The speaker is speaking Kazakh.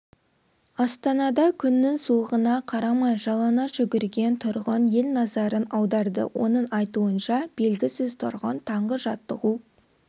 астанада күннің суығына қарамай жалаңаш жүгірген тұрғын ел назарын аударды оның айтуынша белгісіз тұрғын таңғы жаттығу